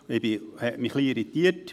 Das irritierte mich ein wenig.